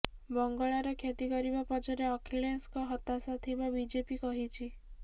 ବଙ୍ଗଳାର କ୍ଷତି କରିବା ପଛରେ ଅଖିଳେଶଙ୍କ ହତାଶା ଥିବା ବିଜେପି କହିଛି